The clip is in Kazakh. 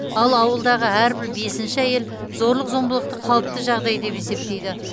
ал ауылдағы әрбір бесінші әйел зорлық зомбылықты қалыпты жағдай деп есептейді